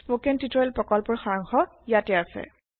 spoken tutorial প্ৰকল্পৰ সাৰাংশ ইয়াতে আছে